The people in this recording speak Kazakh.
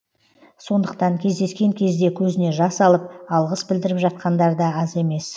сондықтан кездескен кезде көзіне жас алып алғыс білдіріп жатқандар да аз емес